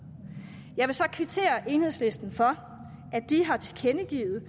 jeg vil så kvittere enhedslisten for at de har tilkendegivet